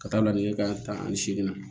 Ka taa lajɛ kan taa ani seegin na